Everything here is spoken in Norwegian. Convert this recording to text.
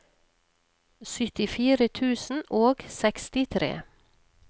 syttifire tusen og sekstitre